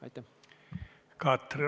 Katri Raik, palun!